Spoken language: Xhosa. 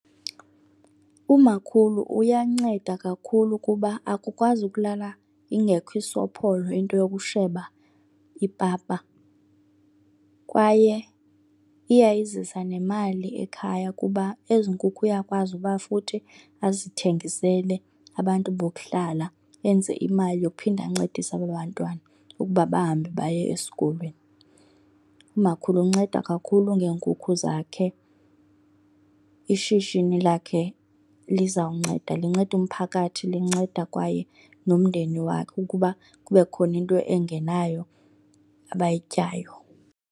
Umakhulu uyanceda kakhulu kuba akukwazi ukulala ingekho isopholo into yokusheba ipapa. Kwaye iyayizisa nemali ekhaya kuba ezi nkukhu uyakwazi uba futhi azithengisele abantu bokuhlala, enze imali yokuphinda ancedise aba bantwana ukuba bahambe baye esikolweni. Umakhulu unceda kakhulu ngeenkukhu zakhe, ishishini lakhe lizawunceda. Linceda umphakathi linceda kwaye nomndeni wakhe ukuba kube khona into engenayo abayityayo.